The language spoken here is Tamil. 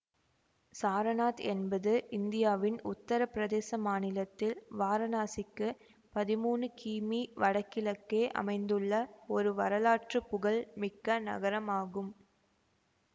சாரநாத் என்பது இந்தியாவின் உத்தர பிரதேச மாநிலத்தில் வாரணாசிக்கு பதிமூனு கிமீ வடகிழக்கே அமைந்துள்ள ஒரு வரலாற்று புகழ் மிக்க நகரம் ஆகும்